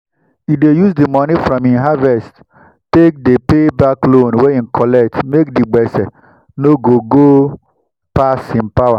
e dey use the money from him harvest take dey pay back loan wey e collect make the gbese no no go pass him power.